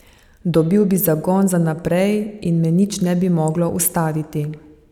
Dobil bi zagon za naprej in me nič ne bi moglo ustaviti.